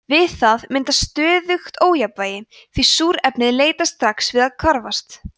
við það myndast „stöðugt ójafnvægi“ því súrefnið leitast strax við að hvarfast